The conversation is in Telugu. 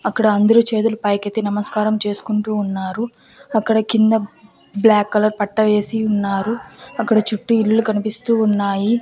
అక్కడ అందరూ చేతులు పైకెత్తి నమస్కారం చేసుకుంటూ ఉన్నారు అక్కడ కింద బ్లాక్ కలర్ పట్టా వేసి ఉన్నారు అక్కడ చుట్టూ ఇల్లు కనిపిస్తూ ఉన్నాయి.